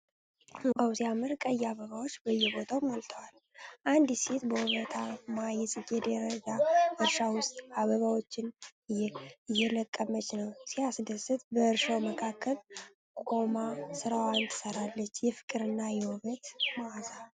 ዋው! ሲያምር! ቀይ አበባዎች በየቦታው ሞልተዋል። አንዲት ሴት በውበታማ የጽጌረዳ እርሻ ውስጥ አበባዎችን እየለቀመች ነው። ሲያስደስት! በእርሻው መካከል ቆማ ሥራዋን ትሠራለች። የፍቅርና የውበት መዓዛ!